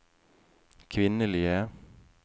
kvinnelige